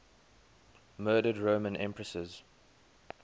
murdered roman empresses